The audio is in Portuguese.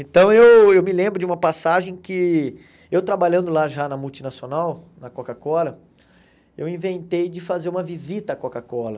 Então eu eu me lembro de uma passagem que, eu trabalhando lá já na multinacional, na Coca-Cola, eu inventei de fazer uma visita à Coca-Cola.